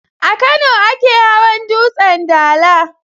A Kano ake hawan dutsen dala.